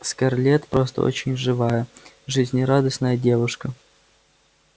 скарлетт просто очень живая жизнерадостная девушка